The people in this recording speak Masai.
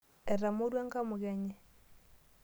Etamorua enkamuke enye.